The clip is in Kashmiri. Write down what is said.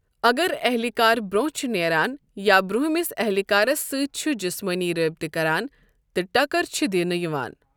اگر اہلِہ کار برونٛہہ چھُ نیران یا برونٛمِس اہلِہ کارَس سۭتۍ چھُ جسمٲنی رٲبطہٕ کران، تہٕ ٹکر چھِ دِنہٕ یِوان۔